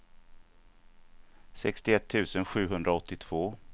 sextioett tusen sjuhundraåttiotvå